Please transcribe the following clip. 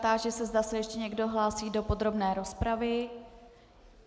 Táži se, zda se ještě někdo hlásí do podrobné rozpravy.